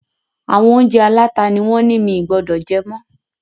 Àwọn oúnjẹ aláta ni wón ńi mì gbọdọ̀ jẹ mọ́